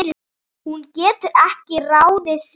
Hún getur ekki ráðið því.